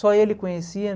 Só ele conhecia.